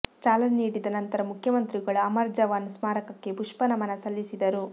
ಚಾಲನೆ ನೀಡಿದ ನಂತರ ಮುಖ್ಯಮಂತ್ರಿಗಳು ಅಮರ್ ಜವಾನ್ ಸ್ಮಾರಕಕ್ಕೆ ಪುಷ್ಪ ನಮನ ಸಲ್ಲಿಸಿದರು